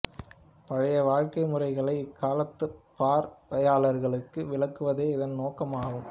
பழைய வாழ்க்கை முறைகளை இக்காலத்துப் பார்வையாளர்களுக்கு விளக்குவதே இதன் நோக்கம் ஆகும்